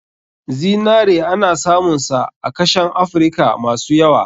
Zinare ana samun sa a kashen afrika masu yawa.